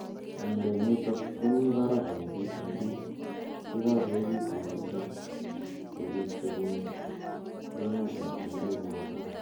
miondo nitok komii baraak eng' puik che kagoekitu missing ko biik chepunu emert ap chumbeek nepo tai.